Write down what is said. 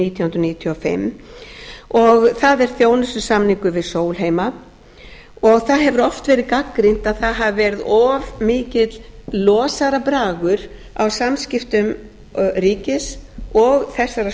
nítján hundruð níutíu og fimm og það er þjónustusamningur við sólheima það hefur oft verið gagnrýnt að það hafi verið of mikill losarabragur á samskiptum ríkis og þessarar stofnunar